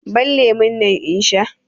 Ban lemun nan in sha!